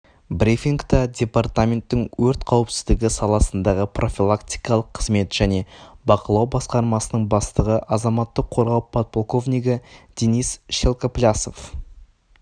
брифингта департаменттің өрт қауіпсіздігі саласындағы профилактикалық қызмет және бақылау басқармасының бастығы азаматтық қорғау подполковнигі денис шелкоплясов